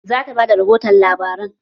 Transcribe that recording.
Za ta ba da rihoto labaran